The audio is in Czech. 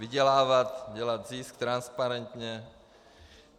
Vydělávat, dělat zisk transparentně.